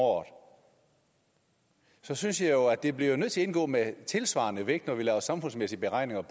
året så synes jeg jo at det bliver nødt til at indgå med tilsvarende vægt når vi laver samfundsmæssige beregninger af